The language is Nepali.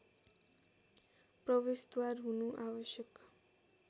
प्रवेशद्वार हुनु आवश्यक